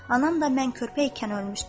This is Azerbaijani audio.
Anam da mən körpə ikən ölmüşdü.